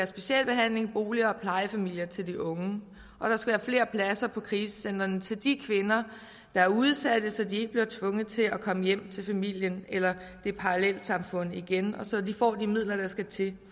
specialbehandling boliger og plejefamilier til de unge og der skal være flere pladser på krisecentre til de kvinder der er udsatte så de ikke bliver tvunget til at komme hjem til familien eller parallelsamfundet igen og så de får de midler der skal til